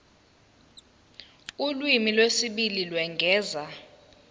ulimi lwesibili lokwengeza